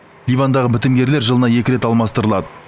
ливандағы бітімгерлер жылына екі рет алмастырылады